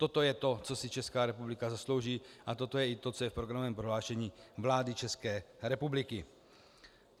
Toto je to, co si Česká republika zaslouží, a toto je i to, co je v programovém prohlášení vlády České republiky.